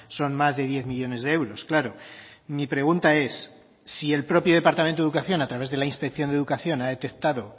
son más de diez millónes de euros claro mi pregunta es si el propio departamento de educación a través de la inspección de educación ha detectado